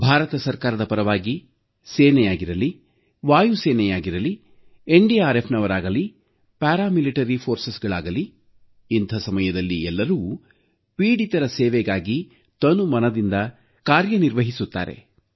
ಭಾರತ ಸರ್ಕಾರದ ಪರವಾಗಿ ಸೇನೆಯಾಗಿರಲಿ ವಾಯುಪಡೆಯಾಗಿರಲೀ ಎನ್ಡಿಆರ್ಎಫ್ನವರಾಗಲೀ ಅರೆಸೇನಾ ಪಡೆಗಳಾಗಲೀ ಇಂಥ ಸಮಯದಲ್ಲಿ ಎಲ್ಲರೂ ಸಂತ್ರಸ್ತರ ಸೇವೆಗಾಗಿ ತನುಮನದಿಂದ ಕಾರ್ಯನಿರ್ವಹಿಸುತ್ತಾರೆ